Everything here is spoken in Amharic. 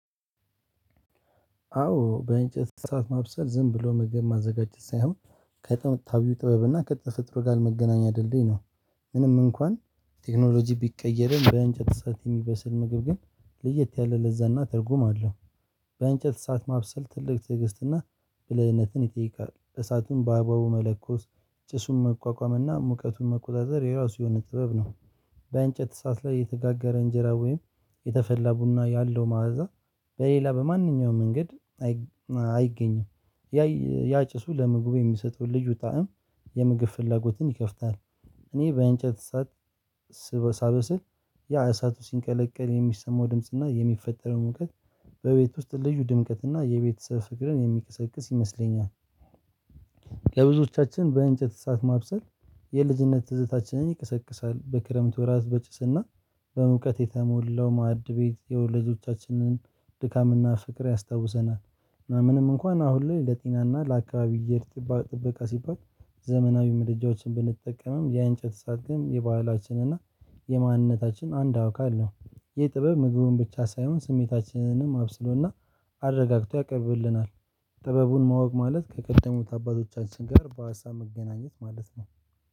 አዎ በእንጨት እሳት ማብሰል ዝም ብሎ መግን ማዘጋጀት ሳይሆን ከጣው ጥበብ እና ከተፈጥሮ ጋር መገናኛ ድልድይ ነው። ምንም እንኳን ቴክኖሎጂ ቢቀየርም በእንጨት እሳት የሚበስል ምግብ ግን ለየት ያለ ለዛ እና ትርጉም አለው። በእንጨት እሳት ማብሰል ትልቅ ትዕግስትና ብልህነትን ይጠይቃል እሳቱን በአባቡ መለኮስ ጭሱን መቋቋምና ሙቀቱን መቆጣጠር የራሱ የሆነ ጥበብ ነው። በእንጨት ሰዓት ላይ የተጋገረ እንጀራ ወይም የተፈላ ቡና ያለው መዓዛ በሌላ በማንኛውም መንገድ አይገኝም። ያየ ያጭሱ ለምግቡ የሚሰጠውን ልጁ ጣዕም የምግብ ፍላጎትን ይከፍታል። እኔ በእንጨት እሳት ስበ ሳበስል ያ እሳቱ ሲንቀለቀል የሚሰማው ድምጽ እና የሚፈጠረው ሙቀት በቤት ውስጥ ልዩ ድምቀት እና የቤተሰብ ፍቅርን የሚቀሰቅስ ይመስለኛል። ለብዙዎቻችን በእንጨት እሳት ማብሰል የልጅነት ትዝታችንን ይቀሰቅሳል በክረምቱ ራስ በጭስና በሙቀት የተሞላው ማድቤት የወለዶቻችንን ድካምና ፍቅር ያስታውሰናል። ምንም እንኳን አሁን ላይ ለጤና ለአካባቢው የጥበቃ ሲባል ዘመናዊ ምድጃዎችን ብንጠቀምም ያ እንጨት ሰዓት ግን የባህላችን እና የማንነታችን አንድ አካል ነው። ይህ ጥበብ ምግቡን ብቻ ሳይሆን ስሜታችንንም አብስሎና አረጋግቶ ያቀብልናል። ጥበቡን ማወቅ ማለት ከቀደሙት አባታቶችን ጋር በሀሳብ መገናኘት ማለት ነው።